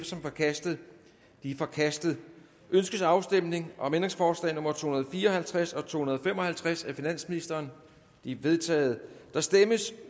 som forkastet det er forkastet ønskes afstemning om ændringsforslag nummer to hundrede og fire og halvtreds og to hundrede og fem og halvtreds af finansministeren de er vedtaget der stemmes